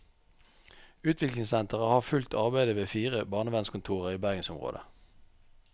Utviklingssenteret har fulgt arbeidet ved fire barnevernskontorer i bergensområdet.